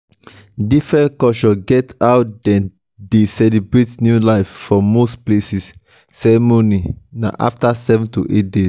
different culture get how dem dey celebrate new life for most places ceremony na after 7 to 8 days